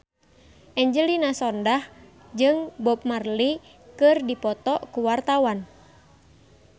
Angelina Sondakh jeung Bob Marley keur dipoto ku wartawan